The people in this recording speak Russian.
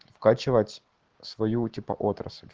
скачивать свою типа отрасль